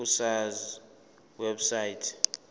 ku sars website